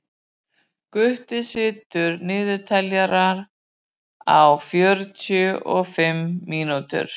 Gutti, stilltu niðurteljara á fjörutíu og fimm mínútur.